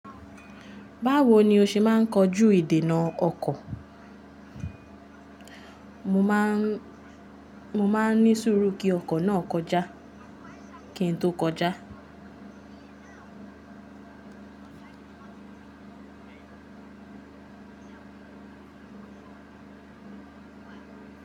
Báwo ni o ṣe máa ń kojú ìdènà ọkọ̀? Mo máa ń ní sùúrù kí ọkọ̀ náà kọjá kí n tó kọjá.